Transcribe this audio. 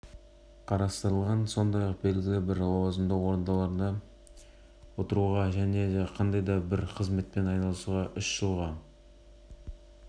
бабтың санкциясы бойынша тағы да екі мың айыппұл төлеу немесе сол көлемде түзету жұмыстарын жасау